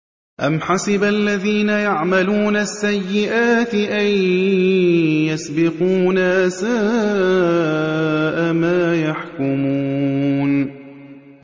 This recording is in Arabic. أَمْ حَسِبَ الَّذِينَ يَعْمَلُونَ السَّيِّئَاتِ أَن يَسْبِقُونَا ۚ سَاءَ مَا يَحْكُمُونَ